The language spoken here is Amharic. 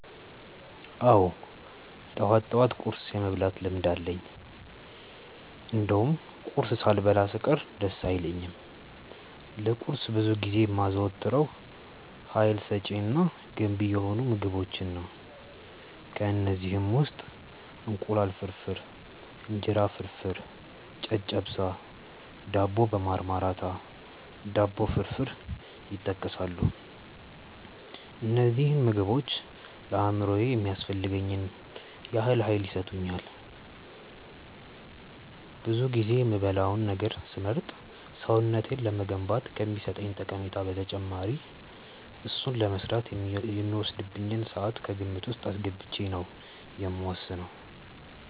አዎ ጠዋት ጠዋት ቁርስ የመብላት ልምድ አለኝ እንደውም ቁርስ ሳልበላ ስቀር ደስ አይለኝም። ለቁርስ ብዙ ጊዜ የማዘወትረው ሀይል ሰጪ እና ገንቢ የሆኑ ምግቦችን ነው። ከእነዚህም ውስጥ እንቁላል ፍርፍር፣ እንጀራ ፍርፍር፣ ጨጨብሳ፣ ዳቦ በማርማራታ፣ ዳቦ ፍርፍር ይጠቀሳሉ። እነዚህ ምግቦች ለአእምሮዬ የሚያስፈልገኝን ያህል ሀይል ይሰጡኛል። ብዙ ጊዜ የምበላውን ነገር ስመርጥ ሰውነቴን ለመገንባት ከሚሰጠኝ ጠቀሜታ በተጨማሪ እሱን ለመስራት የሚወስድብኝን ስዓት ከግምት ውስጥ አስገብቼ ነው የምወስነው።